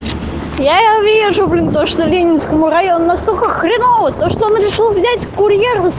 я вижу блин точно ленинскому району настолько хреново то что он решил взять курьера с